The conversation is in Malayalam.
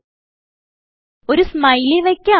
ഇപ്പോൾ ഒരു സ്മൈലി വയ്ക്കാം